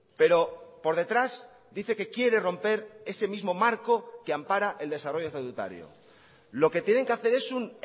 pero por detrás dice que quiere romper ese mismo marco que ampara el desarrollo estatutario lo que tienen que hacer es un